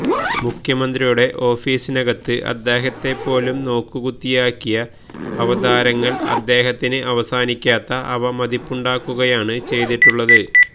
മുഖ്യമന്ത്രിയുടെ ഓഫീസിനകത്ത് അദ്ദേഹത്തെ പോലും നോക്കുകു ത്തിയാക്കിയ അവതാരങ്ങൾ അദ്ദേഹത്തിന് അവസാനിക്കാത്ത അവമതിപ്പുണ്ടാക്കുകയാണ് ചെയ്തിട്ടുള്ളത്